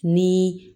Ni